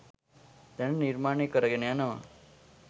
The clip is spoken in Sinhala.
දැනට නිර්මාණ කරගෙන යනවා